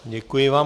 Děkuji vám.